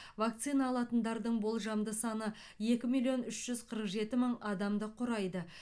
вакцина алатындардың болжамды саны екі миллион үш жүз қырық жеті мың адамды құрайды